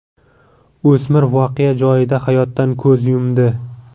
O‘smir voqea joyida hayotdan ko‘z yumdi.